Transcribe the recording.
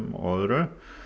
og öðru